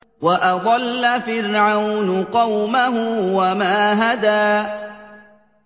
وَأَضَلَّ فِرْعَوْنُ قَوْمَهُ وَمَا هَدَىٰ